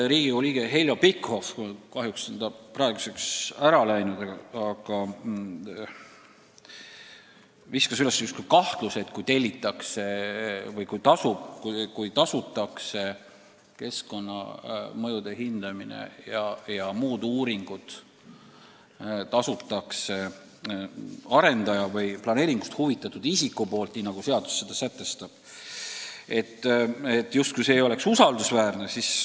Riigikogu liige Heljo Pikhof – kahjuks on ta ära läinud – viskas õhku kahtluse, et kui keskkonnamõjude hindamise ja muud uuringud tasub arendaja või planeeringust huvitatud isik, nii nagu seadus sätestab, siis see hindamine ehk ei ole usaldusväärne.